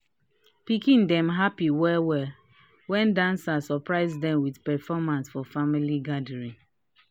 pikin dem happy well well when dancers surprise dem with performance for family gathering."